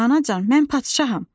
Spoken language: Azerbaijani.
Anacan, mən padşaham.